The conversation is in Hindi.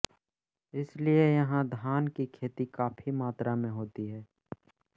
इसलिए यहां धान की खेती काफी मात्रा में होती है